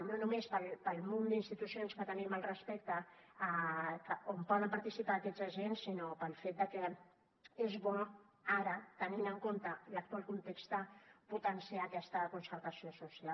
no només pel munt d’institucions que tenim al respecte on poden participar aquests agents sinó pel fet de que és bo ara tenint en compte l’actual context potenciar aquesta concertació social